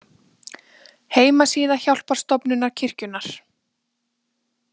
Heimasíða Hjálparstofnunar kirkjunnar.